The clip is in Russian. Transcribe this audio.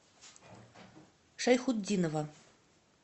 шайхутдинова